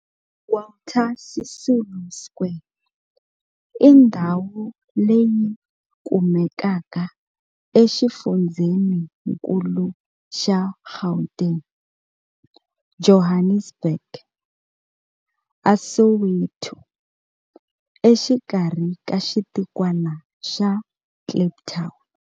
Walter Sisulu Square i ndhawu leyi kumekaka exifundzheninkulu xa Gauteng, Johannesburg, a Soweto, exikarhi ka xitikwana xa Kliptown.